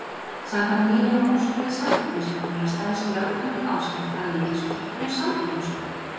Samkvæmt nýlegum úrskurði Samkeppnisstofnunar stenst lögbundin áskrift að Ríkisútvarpinu samkeppnislög.